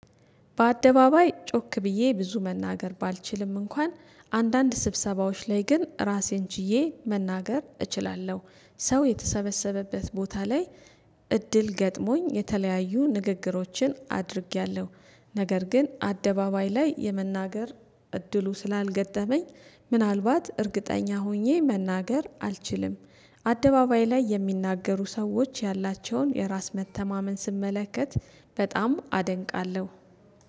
በአደባባይ ጮክ ብዬ ብዙ መናገር ባልችልም እንኳን አንዳንድ ስብሰባዎች ላይ ግን ራሴን ችዬ መናገር እችላለሁ ሰው የተሰበሰበበት ቦታ ላይ። እድል ገጥሞኝ የተለያዩ ንግግሮችን አድርጌያለሁ። ነገር ግን አደባባይ ላይ የመናገር እድሉ ስላልገጠመኝ ምናልባት እርግጠኛ ሆኜ መናገር አልችልም። አደባባይ ላይ የሚናገሩ ሰዎች ያላቸውን የራስ መተማመን ስመለከት በጣም አደንቃለሁ